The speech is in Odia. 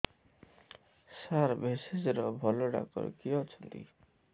ସାର ଭେଷଜର ଭଲ ଡକ୍ଟର କିଏ ଅଛନ୍ତି